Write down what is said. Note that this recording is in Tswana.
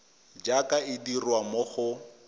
jaaka e dirwa mo go